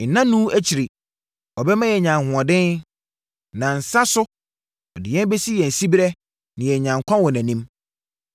Nnanu akyiri, ɔbɛma yɛanya ahoɔden; nansa so, ɔde yɛn bɛsi yɛn siberɛ na yɛanya nkwa wɔ nʼanim.